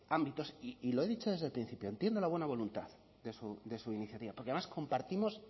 ámbitos y lo he dicho desde el principio entiendo la buena voluntad de su iniciativa porque además compartimos